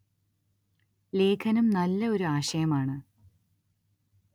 ലേഖനം നല്ല ഒരു ആശയം ആണ്‌